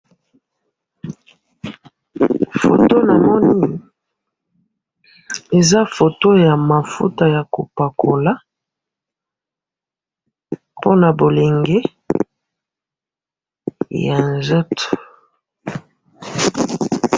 Oyo na moni eza mafuta ya kopakola po na bilengi ya nzoto